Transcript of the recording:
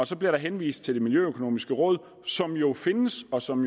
så bliver der henvist til det miljøøkonomiske råd som jo findes og som